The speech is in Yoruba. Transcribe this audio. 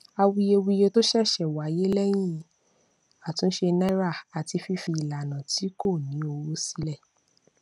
àwuyewuye tó ṣẹṣẹ wáyé lẹyìn àtúnṣe naira àti fífi ìlànà tí kò ní owó sílẹ